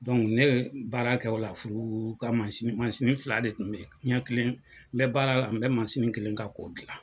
ne bɛ baara kɛ o la furu ka fila de tun bɛ yen, n bɛ baara la, n bɛ kelen kan k'o dilan